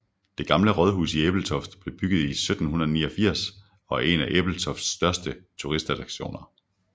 Det Gamle Rådhus i Ebeltoft blev bygget i 1789 og er en af Ebeltofts største turistattraktioner